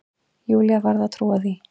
Júlía varð að trúa því.